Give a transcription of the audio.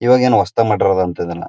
ಈವಾಗ್ ಏನ್ ಹೊಸದಾಗಿ ಮಾಡಿರೋಡ್ ಅಂಥ ಇದುನ್ನ--